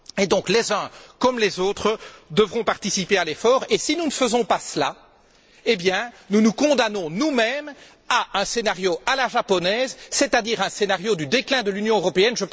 Ainsi, les uns comme les autres devront participer à l'effort, et si nous ne faisons pas cela, nous nous condamnons nous mêmes à un scénario à la japonaise, c'est à dire un scénario du déclin de l'Union européenne.